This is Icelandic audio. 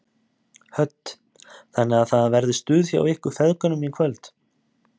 Hödd: Þannig að það verður stuð hjá ykkur feðgunum í kvöld?